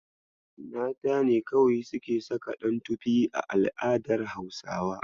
Mata ne kawai suke saka ɗantofi a al'adar Hausa.